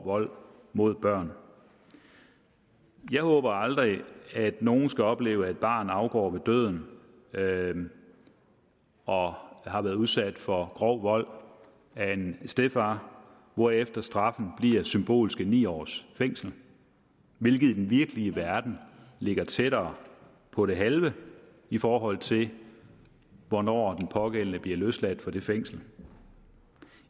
vold mod børn jeg håber aldrig at nogen skal opleve at et barn afgår ved døden døden og har været udsat for grov vold af en stedfar hvorefter straffen bliver symbolske ni års fængsel hvilket i den virkelige verden ligger tættere på det halve i forhold til hvornår den pågældende bliver løsladt fra det fængsel